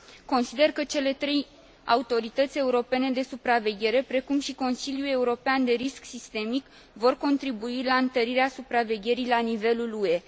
Consider că cele trei autorități europene de supraveghere, precum și Consiliul European de Risc Sistemic, vor contribui la întărirea supravegherii la nivelul UE.